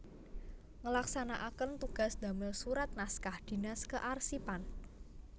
Ngelaksanaaken tugas damel surat naskah dinas kearsipan